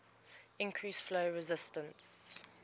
increase flow resistance